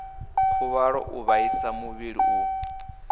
khuvhalo u vhaisa muvhili u